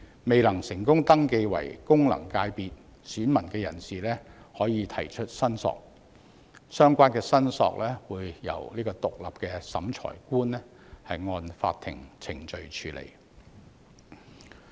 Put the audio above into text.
未能成功登記為功能界別選民的人士，可以提出申索，相關申索會由獨立的審裁官按法定程序處理。